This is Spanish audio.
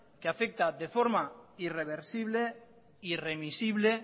que afecta de forma irreversible irremisible